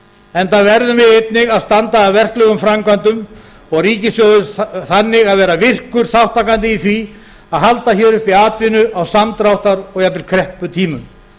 enda verðum við einnig að standa að verklegum framkvæmdum og ríkissjóður þannig að vera virkur þátttakandi í því að halda uppi atvinnu á samdráttar og jafnvel krepputímum